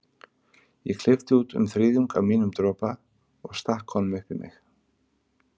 Ég klippti út um þriðjung af mínum dropa og stakk honum upp í mig.